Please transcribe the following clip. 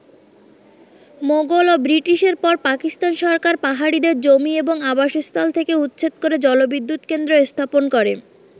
মোগল ও ব্রিটিশের পর পাকিস্তান সরকার পাহাড়িদের জমি এবং আবাসস্থল থেকে উচ্ছেদ করে জলবিদ্যুৎ কেন্দ্র স্থাপন করে।